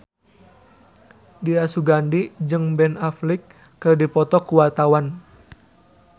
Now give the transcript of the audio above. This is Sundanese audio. Dira Sugandi jeung Ben Affleck keur dipoto ku wartawan